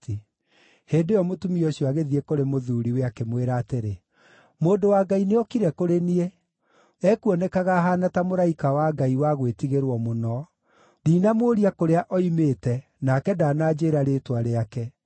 Hĩndĩ ĩyo mũtumia ũcio agĩthiĩ kũrĩ mũthuuriwe, akĩmwĩra atĩrĩ, “Mũndũ wa Ngai nĩokire kũrĩ niĩ. Ekuonekaga ahaana ta mũraika wa Ngai wa gwĩtigĩrwo mũno. Ndinamũũria kũrĩa oimĩte, nake ndananjĩĩra rĩĩtwa rĩake.